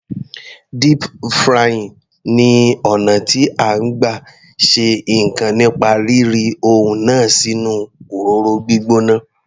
Deep frying ni ọ̀nà tí à ń gbà ṣe ǹkan nípa rí ri ohun náà sínú òróró gbígbóná.